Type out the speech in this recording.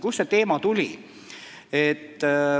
Kust see teema tuli?